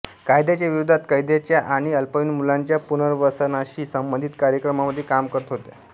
कायद्याच्या विरोधात कैद्यांच्या आणि अल्पवयीन मुलांच्या पुनर्वसनाशी संबंधित कार्यक्रमांमध्ये काम करत होत्या